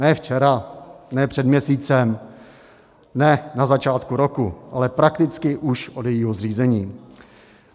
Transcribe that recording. Ne včera, ne před měsícem, ne na začátku roku, ale prakticky už od jejího zřízení.